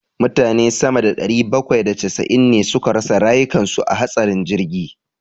Mutane sama da ɗari bakwai da casa'in ne suka rasa rayukan su a hatsarin jirgi.